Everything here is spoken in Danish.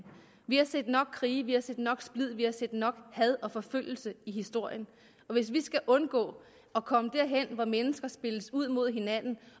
vi har set nok krige vi har set nok splid vi har set nok had og forfølgelse i historien og vi skal undgå at komme derhen hvor mennesker spilles ud mod hinanden